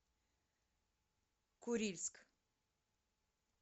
курильск